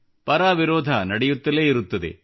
ಪರ ವಿರೋಧ ನಡೆಯುತ್ತಲೇ ಇರುತ್ತದೆ